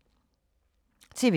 TV 2